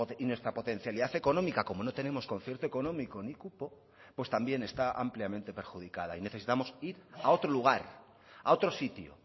y nuestra potencialidad económica como no tenemos concierto económico ni cupo pues también está ampliamente perjudicada y necesitamos ir a otro lugar a otro sitio